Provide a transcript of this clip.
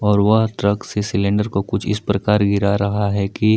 और वह ट्रक से सिलेंडर को कुछ इस प्रकार गिर रहा है कि--